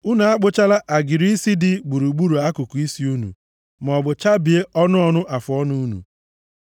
“ ‘Unu akpụchala agịrị isi dị gburugburu akụkụ isi unu, maọbụ chabie ọnụ ọnụ afụọnụ unu.